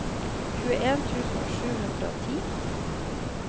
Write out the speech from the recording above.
tjueen tusen sju hundre og ti